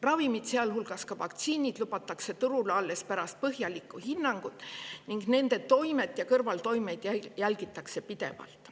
Ravimid, sealhulgas vaktsiinid, lubatakse turule alles pärast põhjalikku hinnangut ning nende toimet ja kõrvaltoimeid jälgitakse pidevalt.